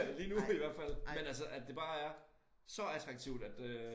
Lige nu i hvert fald men altså at det bare er så attraktivt at øh